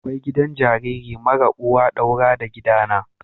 Akwai gidan jariri marar uwa daura da gidana.